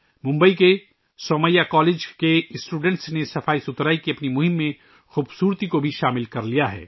ممبئی کے سومیا کالج کے طلباء نے صفائی کی اپنی مہم میں خوبصورتی کو بھی شامل کر لیا ہے